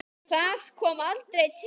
Það kom aldrei til.